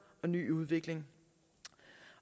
og ny udvikling